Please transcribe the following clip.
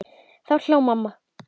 Þá hló mamma.